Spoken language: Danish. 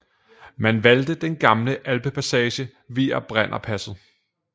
Man valgte den gamle alpepassage via Brennerpasset